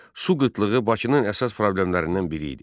Su qıtlığı Bakının əsas problemlərindən biri idi.